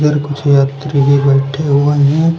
इधर कुछ यात्री भी बैठे हुए हैं।